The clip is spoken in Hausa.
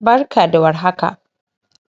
barka da war haka